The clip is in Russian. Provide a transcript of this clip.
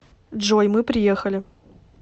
джой мы приехали